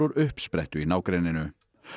uppsprettu í nágrenninu